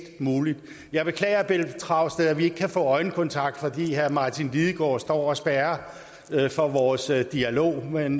muligt jeg beklager pelle dragsted at vi ikke kan få øjenkontakt fordi herre martin lidegaard står og spærrer for vores dialog men